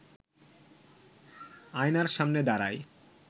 আয়নার সামনে দাঁড়ায়